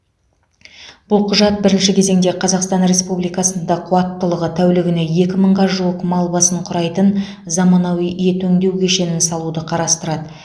бұл құжат бірінші кезеңде қазақстан республикасында қуаттылығы тәулігіне екі мыңға жуық мал басын құрайтын заманауи ет өңдеу кешенін салуды қарастырады